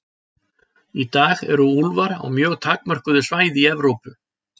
Í dag eru úlfar á mjög takmörkuðu svæði í Evrópu.